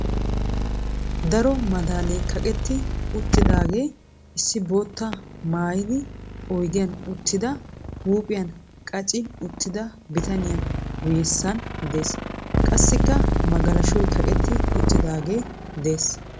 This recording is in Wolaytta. Daro madaalee kaqetti uttidaage issi boottaa mayyidi oyidiyan uttida huuphiyan qachchi uttida bitaniya guyyessan dees. Qassikka magalashoy kaqetti uttiidaagee des.